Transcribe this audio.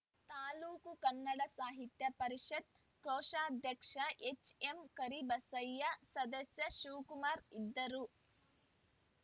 ತಾಲೂಕು ಕನ್ನಡ ಸಾಹಿತ್ಯ ಪರಿಷತ್‌ ಕೋಶಾಧ್ಯಕ್ಷ ಹೆಚ್‌ಎಂಕರಿಬಸಯ್ಯ ಸದಸ್ಯ ಶಿವಕುಮಾರ್‌ ಇದ್ದರು